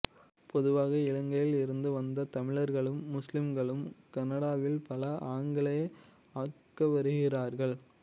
பொதுவாக இலங்கையில் இருந்து வந்த தமிழர்களும் முஸ்லீம்களும் கனடாவில் பல ஆக்கங்களை ஆக்கிவருகின்றார்கள்